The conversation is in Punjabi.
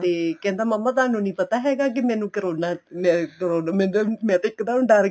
ਤੇ ਕਹਿੰਦਾ ਮਾਮਾ ਤੁਹਾਨੂੰ ਪਤਾ ਹੈਗਾ ਕੀ ਮੈਨੂੰ ਕਰੋਨਾ ਮੈਂ ਕਰੋਨਾ ਮੈਂ ਇੱਕ ਦਮ ਡਰਗੀ